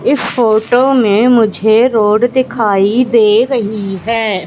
इस फोटो में मुझे रोड दिखाई दे रही है।